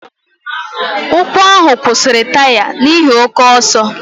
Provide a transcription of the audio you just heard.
Ụkwụ ahụ kwụsịrị taya n'ihi oke ọsọ.